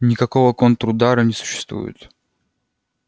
никакого контрудара не существует